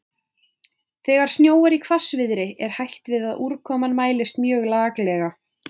Þegar snjóar í hvassviðri er hætt við að úrkoman mælist mjög laklega.